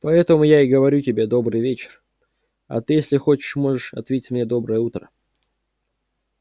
поэтому я и говорю тебе добрый вечер а ты если хочешь можешь ответить мне доброе утро